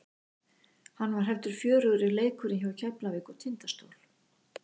Hann var heldur fjörugri leikurinn hjá Keflavík og Tindastól.